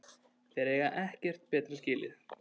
Þeir eiga ekkert betra skilið